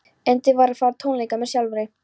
Erindið var að fara á tónleika með sjálfri